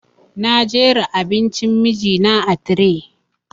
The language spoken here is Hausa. Na jera abincin miji na a tire